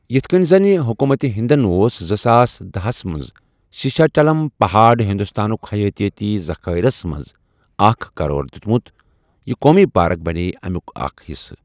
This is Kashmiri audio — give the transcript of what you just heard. یِتھ کٔنۍ زَنہٕ حکوٗمتہِ ہندَن اوس زٕساس داہ منٛز سیشاچلم پہاڑٕ ہندوستانُک حیاتیٲتی ذخٲئرَس منٛزٕ اکھ قرار دِیتمُت، یہِ قومی پارک بنیےٚ امیُک اکھ حصہٕ۔